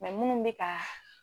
munnu bɛ kaa.